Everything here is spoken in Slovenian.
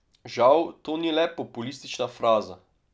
Žal to ni le populistična fraza.